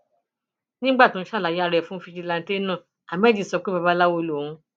nígbà tó ń ṣàlàyé ara ẹ fáwọn fijilantànté náà ahmed sọ pé babaláwo lòun